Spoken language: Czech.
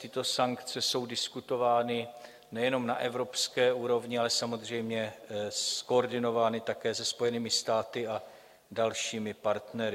Tyto sankce jsou diskutovány nejenom na evropské úrovni, ale samozřejmě zkoordinovány také se Spojenými státy a dalšími partnery.